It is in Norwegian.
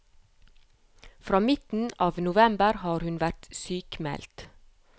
Fra midten av november har hun vært sykmeldt.